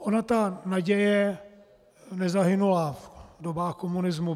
Ona ta naděje nezahynula v dobách komunismu.